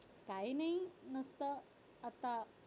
काही नाही नुसतं आता